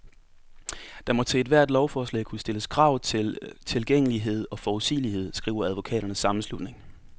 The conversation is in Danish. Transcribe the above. Der må til ethvert lovforslag kunne stilles krav om tilgængelighed og forudsigelighed, skriver advokaternes sammenslutning.